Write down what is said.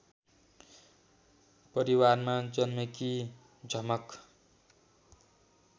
परिवारमा जन्मेकी झमक